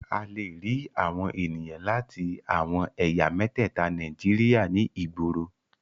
A lè rí àwọn ènìyàn láti àwọn ẹ̀yà mẹ́tẹ̀ẹta Nàíjíríà ní ìgboro.